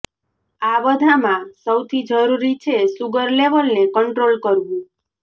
આ બધામાં સૌથી જરૂરી છે શુગર લેવલને કંટ્રોલ કરવુ